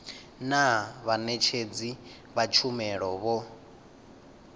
naa vhaṋetshedzi vha tshumelo vho